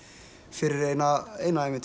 fyrir eina eina